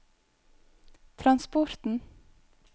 transporten